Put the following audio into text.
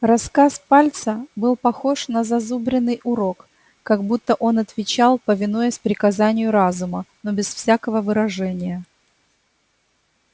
рассказ пальца был похож на зазубренный урок как будто он отвечал повинуясь приказанию разума но без всякого выражения